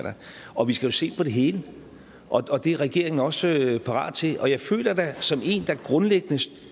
og vi skal jo se på det hele og det er regeringen også parat til jeg føler da som en der grundlæggende